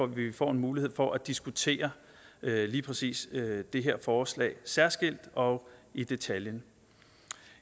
vi får en mulighed for at diskutere lige præcis det her forslag særskilt og i detaljen